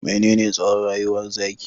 Menene tsowon rayuwar zaki?